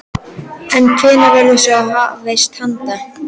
En hvenær verður svo hafist handa?